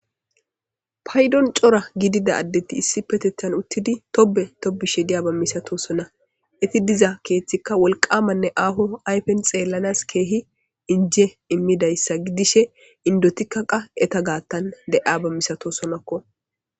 Paydon cora gidida addethi issippeteththan uththidi tobbe tobbishe diyaaba misathoosona; ethi diza keeththikka wolqqaamanne aaho ayfen xeellanas keehi injje immidayssa gidishe inddothikka qa etha gaaththan de7iyaaba misathoosonakko.